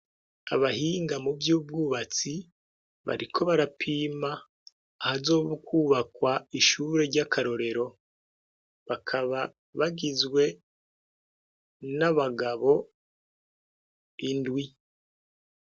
Abahinga mu vy'ubwubatsi bariko barapima ahazo kwubakwa ishure ry'akarorero bakaba bagizwe n'abagabo indwi.